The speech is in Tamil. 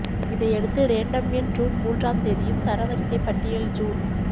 இதையடுத்து ரேண்டம் எண் ஜூன் மூன்றாம் தேதியும் தரவரிசை பட்டியல் ஜூன்